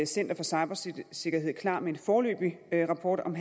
center for cybersikkerhed klar med en foreløbig rapport om